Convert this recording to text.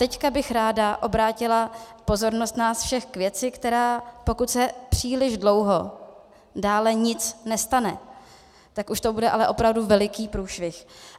Teď bych ráda obrátila pozornost nás všech k věci, která, pokud se příliš dlouho dále nic nestane, tak už to bude ale opravdu veliký průšvih.